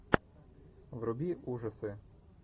вруби ужасы